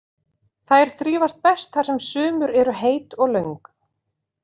Þær þrífast best þar sem sumur eru heit og löng.